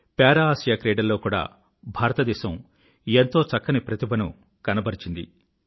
పారా Asia క్రీడల్లో కూడా భారతదేశం ఎంతో చక్కని ప్రతిభను కనబరిచింది